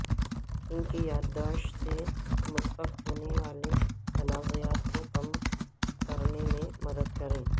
ان کی یادداشت سے متفق ہونے والے تنازعات کو کم کرنے میں مدد کریں